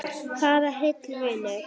Farðu heill, vinur.